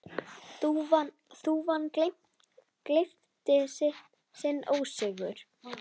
Þúfa gleypti sinn ósigur.